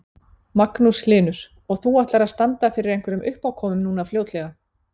Magnús Hlynur: Og þú ætlar að standa fyrir einhverjum uppákomum núna fljótlega?